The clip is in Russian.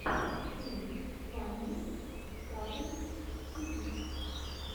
стрим фанни катунс тиви